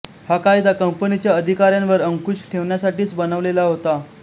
हा कायदा कंपनीच्या अधिकाऱ्यांवर अंकुश ठेवण्यासाठीच बनवलेला होता